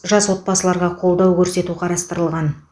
жас отбасыларға қолдау көрсету қарастырылған